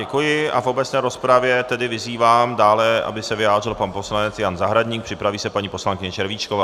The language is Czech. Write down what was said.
Děkuji a v obecné rozpravě tedy vyzývám dále, aby se vyjádřil pan poslanec Jan Zahradník, připraví se paní poslankyně Červíčková.